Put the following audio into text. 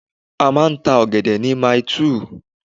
A máa ń ta ọ̀gẹ̀dẹ̀ ni Maili2